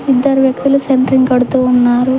ఇద్దరు వ్యక్తులు సెంట్రింగ్ కడుతూ ఉన్నారు.